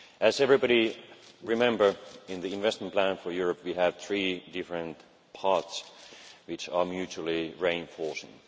As everybody remembers, in the investment plan for Europe we had three different parts which are mutually reinforcing.